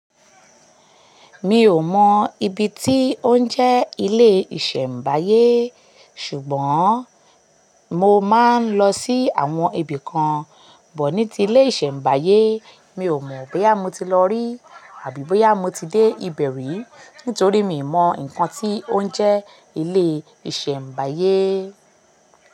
Mi ò mọ̀ ibi tí ó ń jẹ́ ilé ìṣẹ̀mbáyé, ṣùgbọ́n mo máa ń lọ sí àwọn ibì kan bọ̀ ní ti ilé ìṣẹ̀mbáyé. Mi ò mọ̀ bóyá mo ti lọ rí àbí bóyá mo ti dé ibẹ̀ rí nítorí mi ò mọ̀ nǹkan tí ó ń jẹ́ ilé ìṣẹ̀mbáyé.